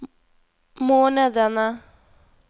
månedene